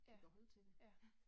Ja, ja